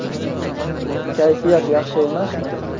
Kayfiyat yaxshi emasmi?